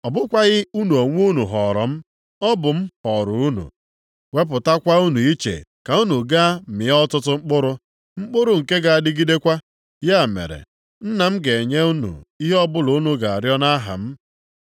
Ọ bụkwaghị unu onwe unu họọrọ m. Ọ bụ m họọrọ unu, wepụtakwa unu iche ka unu gaa mịa ọtụtụ mkpụrụ, mkpụrụ nke ga-adịgidekwa. Ya mere, Nna m ga-enye unu ihe ọbụla unu ga-arịọ nʼaha m.